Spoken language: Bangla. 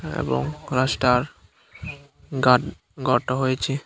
এবং গাসটার গাট গটো হয়েচে।